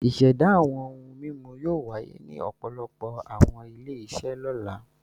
Ìṣẹ̀dá àwọn ohun-mímu yóò wáyé ní ọ̀pọ̀lọpọ̀ àwọn ilé-iṣẹ́ lọ́la.